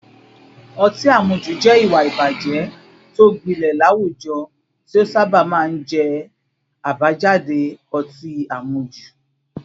Ọtí àmujù jẹ́ ìwà ìbàjẹ́ tó gbilẹ̀ láwùjọ tí ó sábà máa ń jẹ́ àbájáde ọtí àmujù